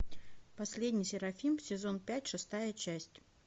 последний серафим сезон пять шестая часть